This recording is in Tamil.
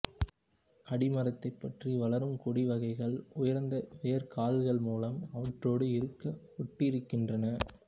அடிமரத்தைப் பற்றி வளரும் கொடி வகைகள் உயர்ந்த வேர்க்கால்கள் மூலமாக அவற்றோடு இறுக ஒட்டியிருக்கின்றன